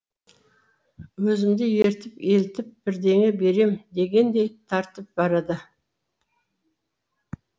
өзімді ерітіп елітіп бірдеңе берем дегендей тартып барады